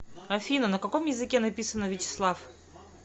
афина на каком языке написано вячеслав